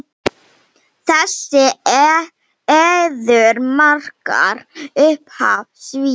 Þessi eiður markar upphaf Sviss.